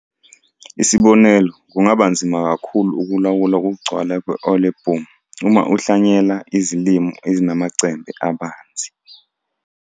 Isibonelo kungaba nzima kakhulu ukulawula ukugcwala kwe-olieboom uma uhlwanyela izilimo ezinamacembe abanzi.